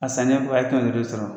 A sannen kɔfɛ a ye kɛmɛ duudu de sɔrɔ.